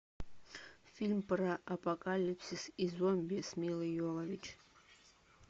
фильм про апокалипсис и зомби с милой йовович